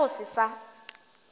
hwa ke go se sa